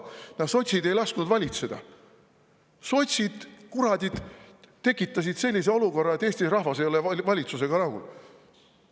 Ja sotsid ei lasknud valitseda, sotsid kuradid tekitasid sellise olukorra, et Eesti rahvas ei ole valitsusega rahul.